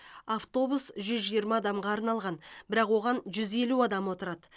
автобус жүз жиырма адамға арналған бірақ оған жүз елу адам отырады